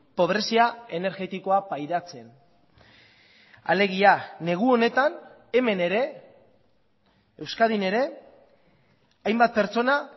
pobrezia energetikoa pairatzen alegia negu honetan hemen ere euskadin ere hainbat pertsona